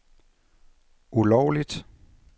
ulovligt